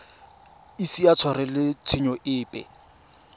ise a tshwarelwe tshenyo epe